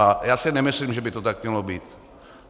A já si nemyslím, že by to tak mělo být.